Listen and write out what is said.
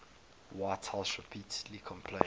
whitehouse repeatedly complained